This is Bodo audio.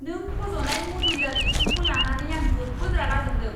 नों फज'नाय मदुलार इसिंखौ लानानै आं जोबोद रागा जोंदों।